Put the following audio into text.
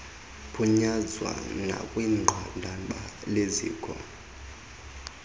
phunyezwa nakwinqanaba leziko